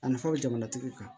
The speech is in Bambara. A nafaw bɛ jamana tigiw kan